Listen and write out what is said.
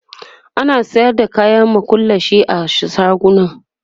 ana sayar da kayan makullashe a shaguna